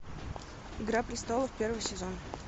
игра престолов первый сезон